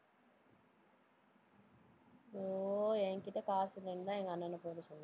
ஐயோ, என்கிட்ட காசு இல்லைன்னுதான் எங்க அண்ணனை போட சொன்னான்